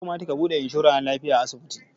Ya kamata ka buɗe inshora na lafiya a asibiti